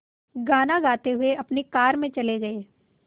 गाना गाते हुए अपनी कार में चले गए